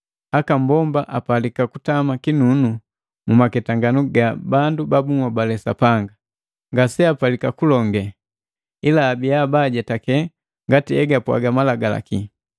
aka mbomba apalika kutama kinunu mumaketanganu ga bandu ba bunhobale Sapanga. Ngaseapalika kupwaga, ila abiya baajetake ngati egapwaga Malagalaki.